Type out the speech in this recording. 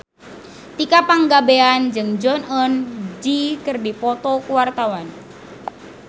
Tika Pangabean jeung Jong Eun Ji keur dipoto ku wartawan